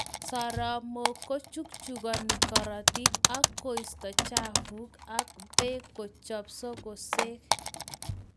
Soromok kochukchukani karatik, ak koisto chafuk ak peek kochep sukusek